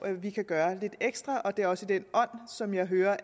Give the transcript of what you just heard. vi kan gøre lidt ekstra og det er også den ånd som jeg hører